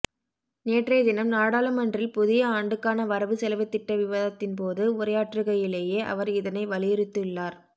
நேற்றையதினம் நாடாளுமன்றில் புதிய ஆண்டுக்கான வரவு செலவுத்திட்ட விவாதத்தின்போது உரையாற்றுகையிலேயே அவர் இதனை வலியுறுத்தியுள்ளார்